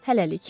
Hələlik.